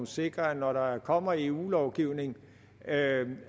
sikre når der kommer eu lovgivning